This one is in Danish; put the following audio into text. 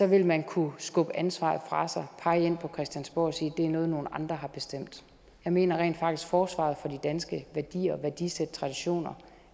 vil man kunne skubbe ansvaret fra sig og pege ind på christiansborg og sige at det er noget nogle andre har bestemt jeg mener rent faktisk at forsvaret for de danske værdier værdisæt og traditioner